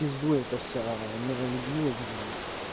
в пизду эта вся ээ миролюбивость блять